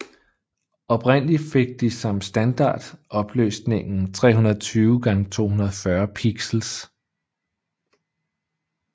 Oprindelig fik de som standard opløsningen 320x240 pixels